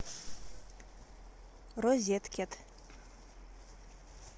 розеткед